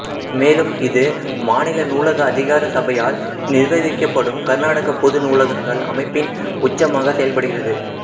மேலும் இது மாநில நூலக அதிகார சபையால் நிர்வகிக்கப்படும் கர்நாடக பொது நூலகங்கள் அமைப்பின் உச்சமாக செயல்படுகிறது